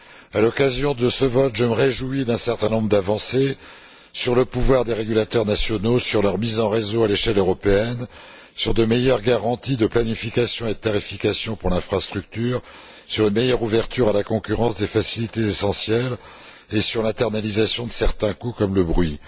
À l'occasion de ce vote, je me réjouis d'un certain nombre d'avancées sur le pouvoir des régulateurs nationaux, sur leur mise en réseau à l'échelle européenne, sur de meilleures garanties de planification et de tarification pour l'infrastructure, sur une meilleure ouverture à la concurrence des facilités essentielles et sur l'internalisation de certains coûts comme le bruit.